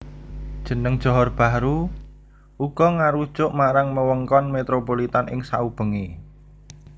Jeneng Johor Bahru uga ngarujuk marang wewengkon metropolitan ing saubengé